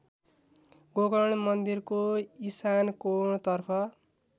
गोकर्ण मन्दिरको इशानकोणतर्फ